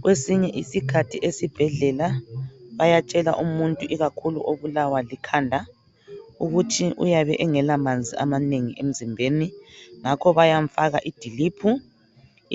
Kwesinye isikhathi esibhedlela bayatshela umuntu ikakhulu obulawa likhanda ukuthi uyabe engelamanzi amanengi emzimbeni ngakho bayamfaka idiliphu